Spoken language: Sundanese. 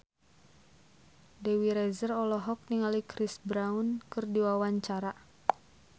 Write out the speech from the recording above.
Dewi Rezer olohok ningali Chris Brown keur diwawancara